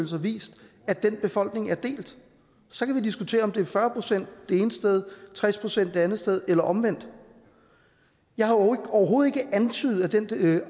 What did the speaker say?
har vist at den befolkning er delt så kan vi diskutere om det er fyrre procent det ene sted og tres procent det andet sted eller omvendt jeg har overhovedet ikke antydet at den